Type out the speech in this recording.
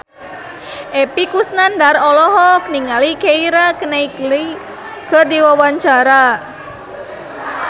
Epy Kusnandar olohok ningali Keira Knightley keur diwawancara